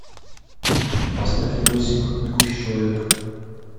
поставь видосик бегущий человек